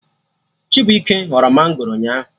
Chibuike ghọrọ mangoro ụnyaahụ